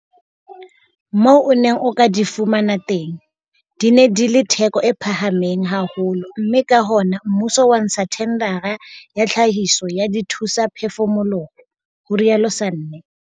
Moo o neng o ka di fumana teng, di ne di le theko e phahameng haholo mme ka hona mmuso wa ntsha thendara ya tlhahiso ya dithusaphefumoloho, ho rialo Sanne.